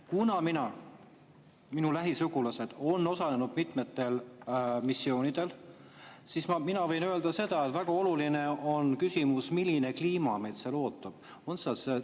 Kuna minu lähisugulased on osalenud mitmetel missioonidel, siis mina võin öelda seda, et väga oluline on küsimus, milline kliima neid seal ootab.